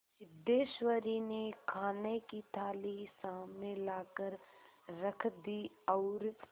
सिद्धेश्वरी ने खाने की थाली सामने लाकर रख दी और